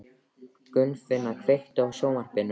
Gunnfinna, kveiktu á sjónvarpinu.